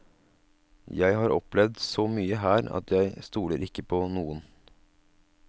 Jeg har opplevd så mye her at jeg stoler ikke på noen.